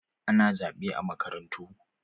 Ana zaɓe a makarantu.